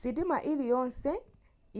sitima iliyonse